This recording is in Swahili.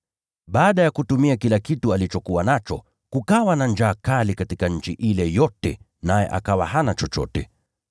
Baada ya kutumia kila kitu alichokuwa nacho, kukawa na njaa kali katika nchi ile yote, naye akawa hana chochote.